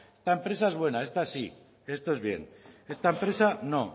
esta empresa es buena esta sí esto es bien esta empresa es no